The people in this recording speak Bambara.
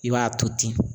I b'a to ten